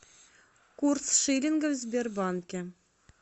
курс шиллинга в сбербанке